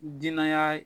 Danaya